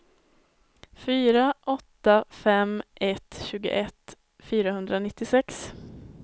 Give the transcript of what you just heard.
fyra åtta fem ett tjugoett fyrahundranittiosex